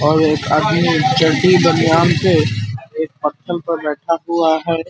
और एक आदमी चड्डी बनियान पे एक पत्थर पर बैठा हुआ है ।